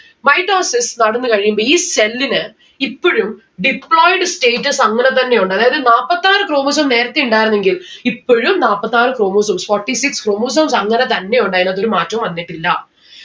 mitosis നടന്നു കഴിയുമ്പോ ഈ cell ന് ഇപ്പൊഴും deployed status അങ്ങനെ തന്നെയുണ്ട് അതായത് നാപ്പത്താറ് chromosome നേരത്തെ ഇണ്ടായിരുന്നെങ്കിൽ ഇപ്പോഴും നാപ്പത്താറ് chromosomes. forty six chromosomes അങ്ങനെതന്നെ ഉണ്ട് ആയിനകത്ത് ഒരു മാറ്റോം വന്നിട്ടില്ല